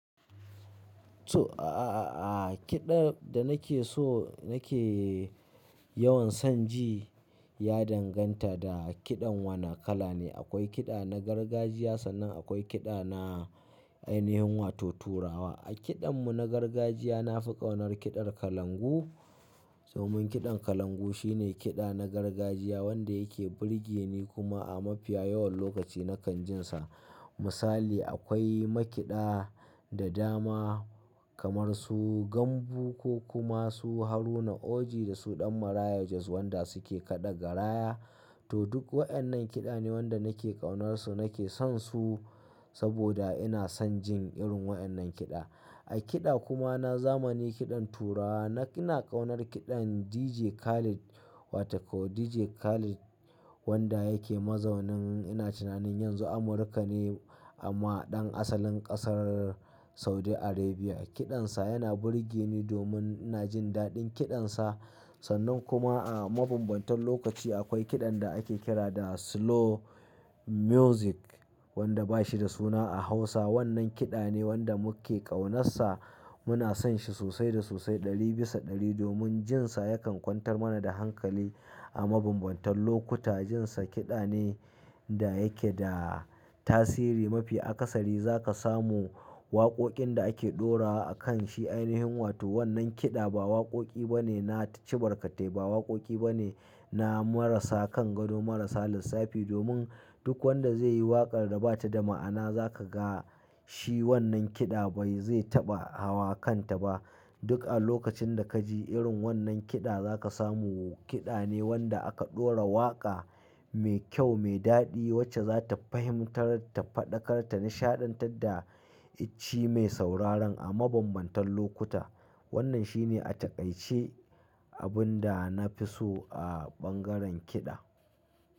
To, a-a-a-a kiɗa da nake so nake yawan son ji ya danganta da kiɗan wana kala ne. Akwai kiɗa na gargajiya sannan akwai kiɗa na ainihin wato turawa. A kiɗan mu na gargajiya na fi ƙaunar kiɗar kalangu. Domin kiɗan kalangu shine kiɗa na gargajiya wanda yake burge ni kuma a mafiya yawan lokaci na kan jin sa. Misali akwai ma kiɗa da dama kamar su gambo ko kuma su Haruna Oji da su Ɗan Maraya Jos wanda su ke kaɗa garaya. To duk waɗannan kiɗa ne wanda nake ƙaunarsu nake son su saboda ina son jin irin waɗannan kiɗa. A kiɗa kuma na zamani kiɗan turawa na ina ƙaunar kiɗan DJ Khaled. Wata ko DJ Khaled wanda yake mazaunin ina tunanin yanzu Amurka ne amma ɗan asalin ƙasar Saudi Arabia. Kiɗan sa yana burge ni domin ina jin daɗin kiɗan sa. Sannan kuma a mabambantan lokaci akwai kiɗan da ake kira da slow music wanda ba shi da suna a Hausa. Wannan kiɗa ne wanda muke ƙaunarsa muna son shi sosai da sosai ɗari bisa ɗari domin jin sa yakan kwantar mana da hankali a mabambantan lokuta. Jin sa kiɗa ne da yake da tasiri mafi. A ƙasari za ka samu waƙoƙin da ake ɗorawa a kan shi ainihin wato wannan kiɗa ba waƙoƙi bane na cibarkatai ba waƙoƙi bane na marasa kan gado marasa lissafi domin duk wanda zai yi waƙar da bata da ma'ana za ka ga shi wannan kiɗa bai zai taɓa hawa kanta ba. Duk a lokacin da ka ji irin wannan kiɗa za ka samu kiɗa ne wanda aka ɗora waƙa mai kyau mai daɗi wacce za ta fahimtarta, faɗakarta, nishaɗantar da icci mai sauraron a mabambantan lokuta. Wannan shi ne a taƙaice abin da na fi so a ɓangaren kiɗa.